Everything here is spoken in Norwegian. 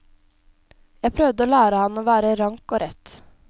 Jeg prøvde å lære ham å være rank og rett.